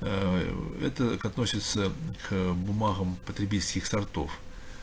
ээ это относится к бумагам потребительских сортов